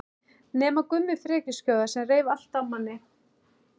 Nema Gummi frekjuskjóða sem reif allt af manni.